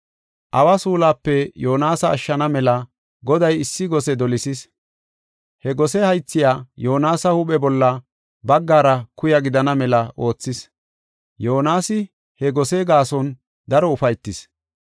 Awa suulape Yoonasa ashshana mela Goday issi gose dolisis. He gose haythay Yoonasa huuphe bolla baggara kuya gidana mela oothis. Yoonasi he gose gaason daro ufaytis.